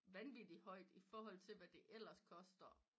Vanvittigt højt iforhold til hvad det ellers koster